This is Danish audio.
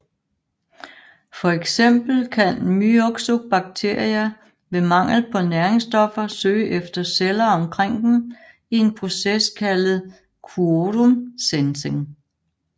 For eksempel kan Myxobacteria ved mangel på næringsstoffer søge efter celler omkring dem i en proces kaldet quorum sensing